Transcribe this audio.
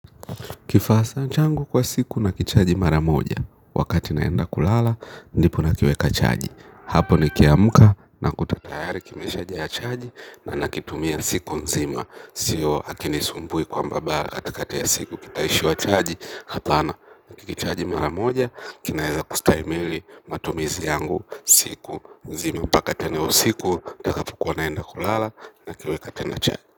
Kifasa changu kwa siku na kichaji mara moja, wakati naenda kulala, ndipo na kiweka chaji. Hapo ni kiamka na kuta tayari kimesha jaa chaji na nakitumia siku nzima. Sio akini sumbui kwamba ba katikati ya siku kitaishiwa chaji, hapana. Kichaji mara moja, kinaeza kustahimili matumizi yangu siku nzima. Paka tena usiku, takapokua naenda kulala na kiweka tena chaji.